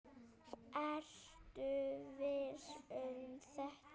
Ertu viss um þetta?